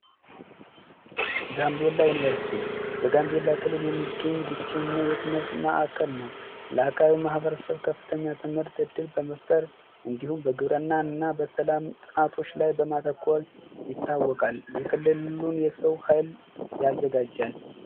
ጋምቤላ ዩኒቨርስቲ በጋምቤላ ክልል የሚገኝ ብቸኛ የትምርት ማዕከል ነው። ከፍተኛ ትምህርት በመፍጠር እንዲሁም እና በሰላም ጥናቶች ላይ በማተኮር ይታወቃል። የክልሉን የሰው ኃይል ያዘጋጃል።